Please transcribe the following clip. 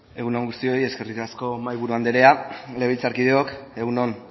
egun on guztioi eskerrik asko mahaiburu anderea legebiltzarkideok egun on